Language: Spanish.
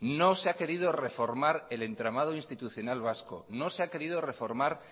no se ha querido reformar el entramado institucional vasco no se ha querido reformar